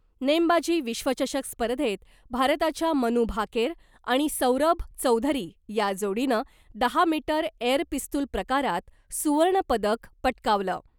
नेमबाजी विश्वचषक स्पर्धेत भारताच्या मनू भाकेर आणि सौरभ चौधरी या जोडीनं, दहा मीटर एअर पिस्तुल प्रकारात सुवर्णपदक पटकावलं .